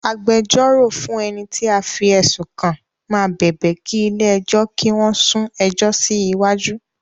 Agbẹjọ́rò fún ẹni tí a fí ẹ̀sùn kàn máa bẹ̀bẹ̀ kí ilé ẹjọ́ kí wón sún ẹjọ́ síwájú